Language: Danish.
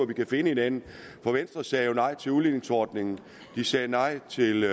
vi kan finde hinanden for venstre sagde jo nej til udligningsordningen man sagde nej til